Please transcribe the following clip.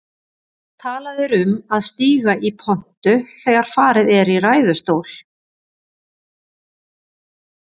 Talað er um að stíga í pontu þegar farið er í ræðustól.